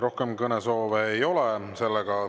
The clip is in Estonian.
Rohkem kõnesoove ei ole.